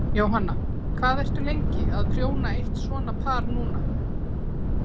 Jóhanna: Hvað ertu lengi að prjóna eitt svona par núna?